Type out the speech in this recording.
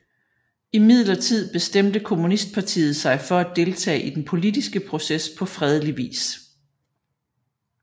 Imidlertid bestemte kommunistpartiet sig for at deltage i den politiske proces på fredelig vis